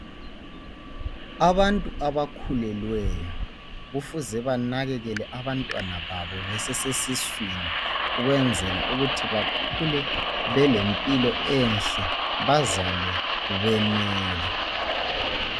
Abantu abakhulelweyo kufuze banakekele abantwana babo besesesiswini ukwenzela ukuthi bakhule belempilo enhle bazalwe benele